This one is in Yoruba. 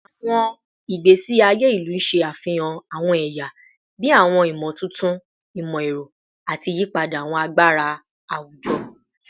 Awọn igbesi aye ilu ṣe afihan awọn ẹya bii awọn imotuntun imọ-ẹrọ ati iyipada awọn agbara awujọ